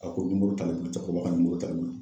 Ko aa, ko t'ale kun cɛkɔrɔba ka t'ale kun .